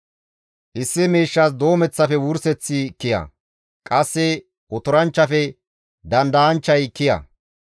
Issi miishshas doomeththafe wurseththi kiya; qasse otoranchchafe dandayanchchay kiya.